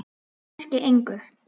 Kannski engu.